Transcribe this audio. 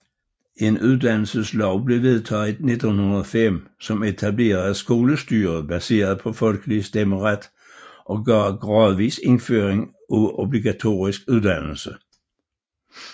En uddannelseslov blev vedtaget i 1905 som etablerede skolestyre baseret på folkelig stemmeret og gav gradvis indføring af obligatorisk uddannelse